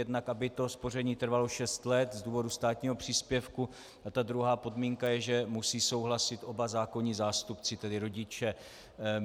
Jednak aby to spoření trvalo šest let z důvodu státního příspěvku a ta druhá podmínka je, že musí souhlasit oba zákonní zástupci, tedy rodiče.